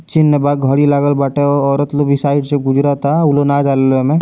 चिन्ह बा घड़ी लागल बाटे औरत लोग उ साइड से गुजरता उ लोग न जाला इमें।